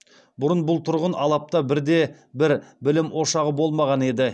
бұрын бұл тұрғын алапта бірде бір білім ошағы болмаған еді